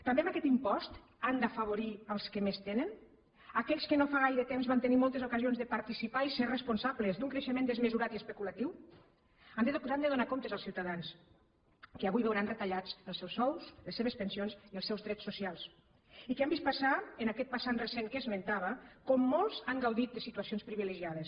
també amb aquest impost han d’afavorir els que més tenen aquells que no fa gaire temps van tenir moltes ocasions de participar i ser responsables d’un creixement desmesurat i especulatiu han de donar comptes als ciutadans que avui veuran retallats els seus sous les seves pensions i els seus drets socials i que han vist passar en aquest passat recent que esmentava com molts han gaudit de situacions privilegiades